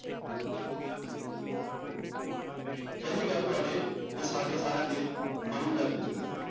ਪਹਿਲੀ ਗੱਲ ਤੁਹਾਡੇ ਜਾਂ ਸਾਡੇ ਸਾਰਿਆਂ ਦੇ ਮਨੋ ਜਗਤ ਦੀ ਹੈ।